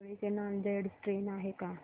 पिंगळी ते नांदेड ट्रेन आहे का